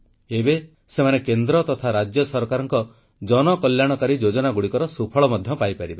ଏବେ ସେମାନେ କେନ୍ଦ୍ର ତଥା ରାଜ୍ୟ ସରକାରଙ୍କ ଜନକଲ୍ୟାଣକାରୀ ଯୋଜନାଗୁଡ଼ିକର ସୁଫଳ ମଧ୍ୟ ପାଇପାରିବେ